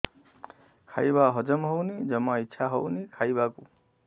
ଖାଇବା ହଜମ ହଉନି ଜମା ଇଛା ହଉନି ଖାଇବାକୁ